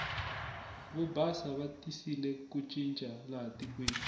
vo basa va tisile ku cinca laha tikweni